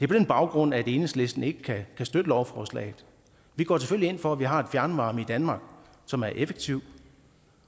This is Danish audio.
på den baggrund at enhedslisten ikke kan støtte lovforslaget vi går selvfølgelig ind for at vi har fjernvarme i danmark som er effektiv